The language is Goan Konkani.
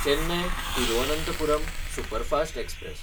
चेन्नय–तिरुअनंथपुरम सुपरफास्ट एक्सप्रॅस